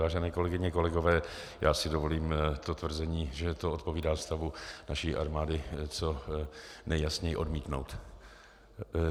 Vážené kolegyně, kolegové, já si dovolím to tvrzení, že to odpovídá stavu naší armády, co nejjasněji odmítnout.